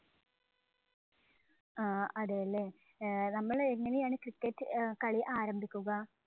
ആഹ് അതേല്ലേ, ഏർ നമ്മള് എങ്ങനെയാണ് cricket കളി ആരംഭിക്കുക?